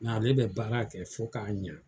Nga ale be baara kɛ fo ka ɲɛ.